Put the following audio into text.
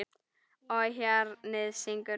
Og hjarnið syngur.